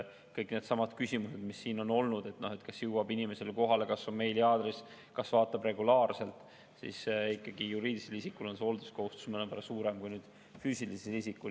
Kõik needsamad küsimused, mis siin on olnud – kas teade jõuab kohale, kas on meiliaadress, kas seda vaadatakse regulaarselt –, ikkagi juriidilisel isikul on hoolsuskohustus mõnevõrra suurem kui füüsilisel isikul.